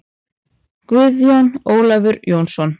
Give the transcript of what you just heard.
Guðjón Ólafur Jónsson